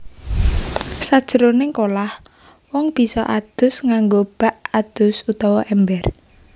Sajroning kolah wong bisa adus nganggo bak adus utawa èmber